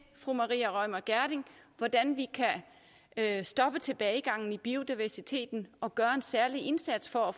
fru maria reumert gjerding hvordan vi kan stoppe tilbagegangen i biodiversiteten og gøre en særlig indsats for at